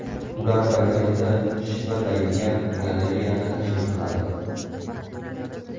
Ular birgalikda shivirlaydigan galereyani tashkil qiladi.